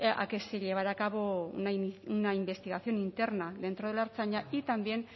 a que se llevara a cabo una investigación interna dentro de la ertzaintza y también